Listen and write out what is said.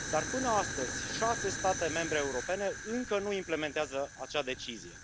Dar până astăzi 6 state membre europene încă nu implementează acea decizie.